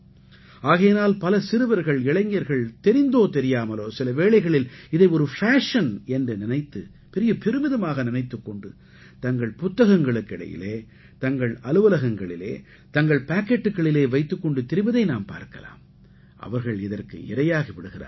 ஆகையினால் பல சிறுவர்கள் இளைஞர்கள் தெரிந்தோ தெரியாமலோ சில வேளைகளில் இதை ஒரு ஃபேஷன் என்று நினைத்து பெரிய பெருமிதமாக நினைத்துக் கொண்டு தங்கள் புத்தகங்களுக்கு இடையிலே தங்கள் அலுவலகங்களிலே தங்கள் பாக்கெட்டுக்களிலே வைத்துக் கொண்டு திரிவதை நாம் பார்க்கலாம் அவர்கள் இதற்கு இரையாகி விடுகிறார்கள்